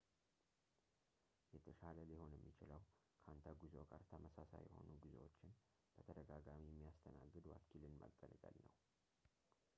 የተሻለ ሊሆን የሚችለው ከአንተ ጉዞ ጋር ተመሳሳይ የሆኑ ጉዞዎችን በተደጋጋሚ የሚያስተናግድ ወኪልን መገልገል ነው